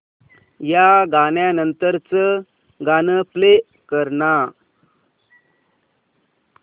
या गाण्या नंतरचं गाणं प्ले कर ना